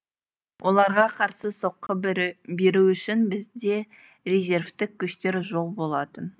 оларға қарсы соққы беру үшін бізде резервтік күштер жоқ болатын